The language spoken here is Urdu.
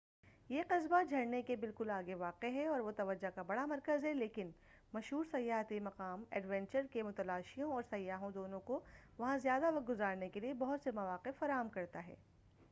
یہ قصبہ جھرنے کے بالکل آگے واقع ہے اور وہ توجہ کا بڑا مرکز ہے لیکن یہ مشھور سیاحتی مقام ایڈونچر کے متلاشیوں اور سیاحوں دونوں کو وہاں زیادہ وقت گزارنے کے بہت سے مواقع فراہم کرتا ہے